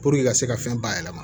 ka se ka fɛn bayɛlɛma